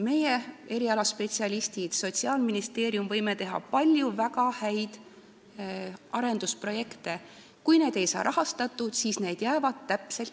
Meie – spetsialistid ja Sotsiaalministeerium – võime teha palju väga häid arendusprojekte, aga kui need ei saa raha, siis need jäävad seisma.